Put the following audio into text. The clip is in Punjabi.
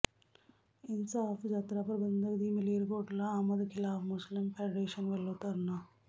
ਇਨਸਾਫ਼ ਯਾਤਰਾ ਪ੍ਰਬੰਧਕ ਦੀ ਮਾਲੇਰਕੋਟਲਾ ਆਮਦ ਖ਼ਿਲਾਫ਼ ਮੁਸਲਿਮ ਫ਼ੈਡਰੇਸ਼ਨ ਵੱਲੋਂ ਧਰਨਾ